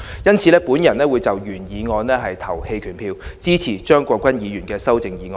因此，我會就原議案投棄權票，支持張國鈞議員的修正案。